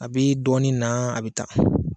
A bɛ dɔɔni na, a bɛ taa.